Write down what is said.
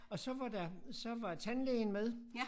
Og så var der så var tandlægen med